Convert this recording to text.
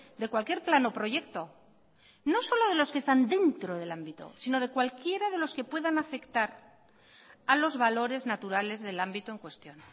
de cualquier plan o proyecto no solo de los que están dentro del ámbito sino de cualquiera de los que puedan afectar a los valores naturales del ámbito en cuestión